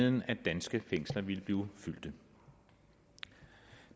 end at danske fængsler ville blive fyldt